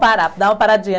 parar. Dá uma paradinha,